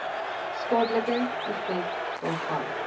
skadelike effek daarvan